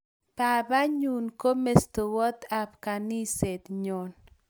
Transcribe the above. Babat nyun ko mestowot ab kaniset nyon